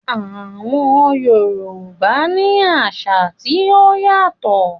Àwọn Yorùbá ní àṣà tí ó yàtọ̀